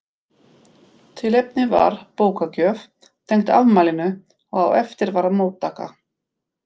Tilefnið var bókagjöf tengd afmælinu og á eftir var móttaka.